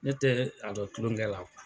Ne tɛ a la kulonkɛ la kuwa